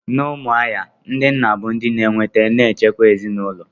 N'Umuahia, ndị nna bụ ndị na-eweta na nchekwa n'ezinaụlọ.